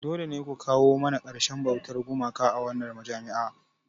Dole ne ku kawo ƙarshen bautar gumaka a wannan majami'a!